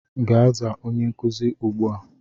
Gaa zaa onye nkuzi ugbua!